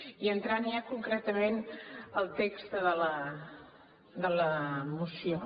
i entrant ja concretament al text de la moció